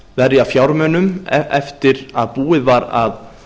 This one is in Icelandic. verja fjármunum eftir að búið var að